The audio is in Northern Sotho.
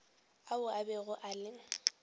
ao a bego a le